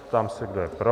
Ptám se, kdo je pro.